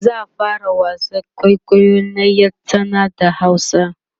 za'a fara wasan kwaikwayo na ƴar tsana da hausa